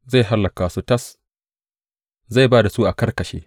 Zai hallaka su tas, zai ba da su a karkashe.